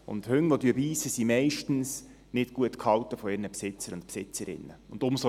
Hunde, die beissen, sind meistens von ihren Besitzern und Besitzerinnen nicht gut gehalten.